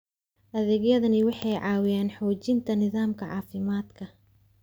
Adeegyadani waxay caawiyaan xoojinta nidaamka caafimaadka.